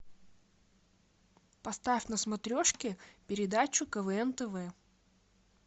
поставь на смотрешке передачу квн тв